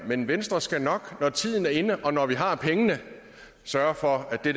men venstre skal nok når tiden er inde og når vi har pengene sørge for at det